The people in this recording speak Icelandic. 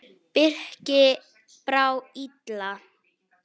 Birki brá illa.